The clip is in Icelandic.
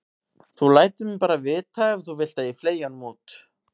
Þú lætur mig bara vita ef þú vilt að ég fleygi honum út.